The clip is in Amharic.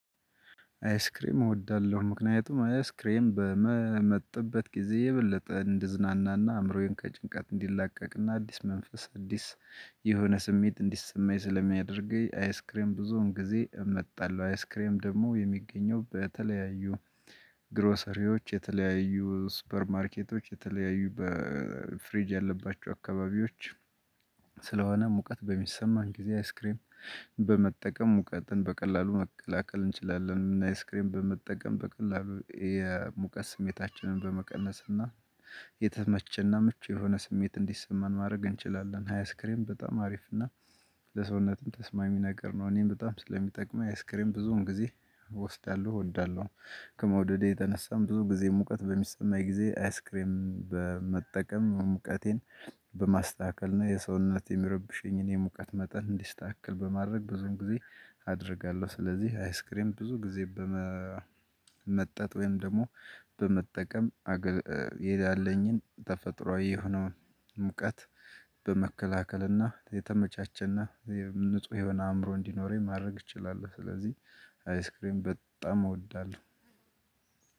አይስክሬም እወዳለሁ ምክንያቱም አይስክሬም በመም መጥበት ጊዜ የበለጠ እንድዝናና እና አእምሮዬን ከጭንቀት እንዲላቀቅና አዲስ መንፈስ አዲስ የሆነ ስሜት እንዲሰማኝ ስለሚያደርገኝ። አይስክሬም ብዙውን ጊዜ እመጣለሁ አይስክሬም ደግሞ የሚገኘው በተለያዩ። ግሮሰሪዎች የተለያዩ ሱፐር ማርኬቶች የተለያዩ በፍሪጅ ያለባቸው አካባቢዎች። ስለሆነ ሙቀት በሚሰማን ጊዜ አይስክሬም በመጠቀም ሙቀትን በቀላሉ መከላከል እንችላለን። አይስክሬም በመጠቀም በቀላሉ የሙቀት ስሜታችንን በመቀነስ እና የተመቸና ምቹ የሆነ ስሜት እንዲሰማን ማድረግ እንችላለን። አይስክሬም በጣም አሪፍ እና ለሰውነትም ተስማሚ ነገር ነው። እኔም በጣም ስለሚጠቅመኝ አይስክሬም ብዙዉም ጊዜ እወስዳለሁ እወዳለሁ። ከመውደዴ የተነሳም ብዙ ጊዜ ሙቀት በሚሰማኝ ጊዜ አይስክሬም በመጠቀም ሙቀቴን በማስተካከል እና የሰውነት የሚረብሸኝን የሙቀት መጠን እንዲስተካከል በማድረግ ብዙም ጊዜ አደርጋለሁ። ስለዚህ አይስክሬም ብዙ ጊዜ በመመጠጥ ወይም ደግሞ በመጠቀም አገልግሎት ይሄ ያለኝን ተፈጥሮአዊ የሆነውን ሙቀት። በመከላከልና የተመቻቸና የንጹህ የሆነ አእምሮ እንዲኖረኝ ማድረግ እንችላለን። ስለዚህ አይስክሬም በጣም እወዳለሁ።